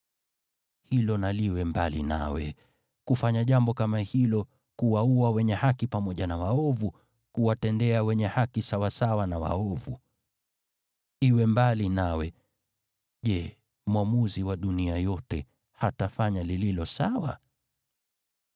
Hilo na liwe mbali nawe, kufanya jambo kama hilo, kuwaua wenye haki pamoja na waovu, kuwatendea wenye haki sawasawa na waovu. Iwe mbali nawe! Je, Mwamuzi wa dunia yote hatafanya lililo sawa?”